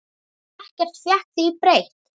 Ekkert fékk því breytt.